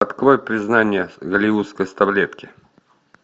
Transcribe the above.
открой признание голливудской старлетки